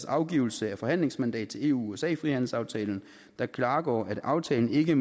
afgivelse af forhandlingsmandat til eu usa frihandelsaftalen der klargjorde at aftalen ikke